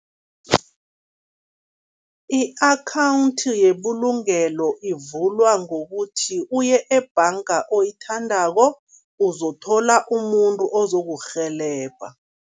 I-akhawundi yebulungelo ivulwa ngokuthi uye ebhanga oyithandako, uzothola umuntu ozokurhelebha.